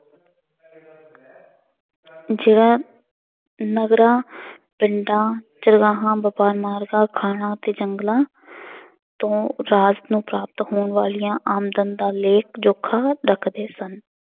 ਜਿਹੜਾ ਨਗਰਾਂ ਪਿੰਡਾਂ, ਚਰਗਾਹਾਂ ਖਾਣਾਂ ਅਤੇ ਜੰਗਲਾਂ ਤੋਂ ਰਾਜ ਨੂੰ ਪ੍ਰਾਪਤ ਹੋਣ ਵਾਲੀਆਂ ਆਮਦਨ ਦਾ ਲੇਖ ਜੋਖਾ ਰੱਖਦੇ ਸਨ।